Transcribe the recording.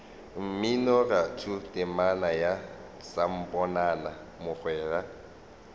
mminoratho temana ya samponana mogwera